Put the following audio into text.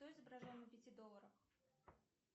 кто изображен на пяти долларах